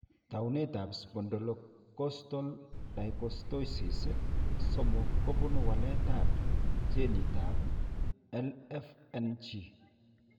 Taunetab Spondylocostal dysostosis 3 kobunu waletab ginitab LFNG.